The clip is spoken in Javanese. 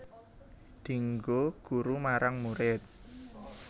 Dienggo guru marang murid